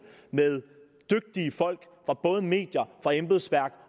med dygtige folk fra både medier embedsværk